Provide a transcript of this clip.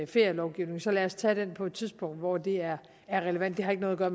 ferielovgivningen så lad os tage den på et tidspunkt hvor det er er relevant det har ikke noget at